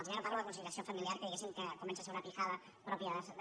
jo ja no parlo de conci·liació familiar que diguéssim comença a ser una pijada pròpia de